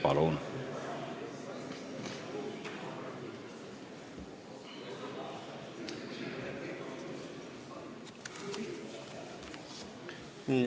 Palun!